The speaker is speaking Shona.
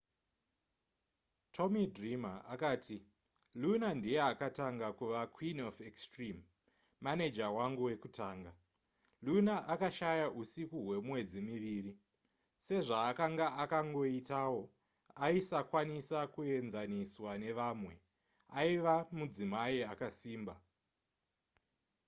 tommy dreamer akati luna ndiye akatanga kuva queen of extreme maneja wangu wekutanga luna akashaya usiku hwemwedzi miviri sezvaakanga akangoitawo aisakwanisa kuenzaniswa nevamwe aiva mudzimai akasimba